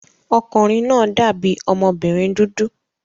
Ọmọkùnrin náà dàbí ọmọbìnrin dúdú